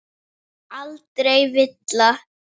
Aldrei villa.